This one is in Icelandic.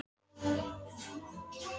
En hefur hann stuðning frá stjórninni?